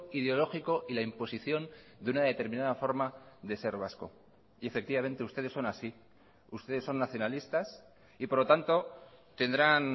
ideológico y la imposición de una determinada forma de ser vasco y efectivamente ustedes son así ustedes son nacionalistas y por lo tanto tendrán